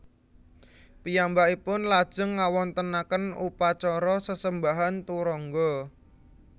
Piyambakipun lajeng ngawontenaken upacara sesembahan turangga